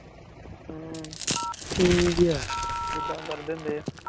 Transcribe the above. ਹਮ ਠੀਕ ਈ ਆ, ਜਿੱਦਾਂ ਭਰ ਦੇਂਦੇ ਏ